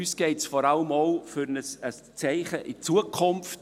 Uns geht es vor allem auch um ein Zeichen für die Zukunft.